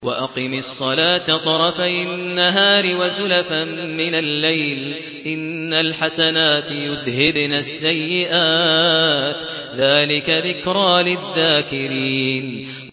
وَأَقِمِ الصَّلَاةَ طَرَفَيِ النَّهَارِ وَزُلَفًا مِّنَ اللَّيْلِ ۚ إِنَّ الْحَسَنَاتِ يُذْهِبْنَ السَّيِّئَاتِ ۚ ذَٰلِكَ ذِكْرَىٰ لِلذَّاكِرِينَ